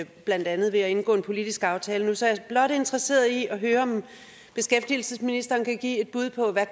blandt andet ved at indgå en politisk aftale nu så jeg er blot interesseret i at høre om beskæftigelsesministeren kan give et bud på hvad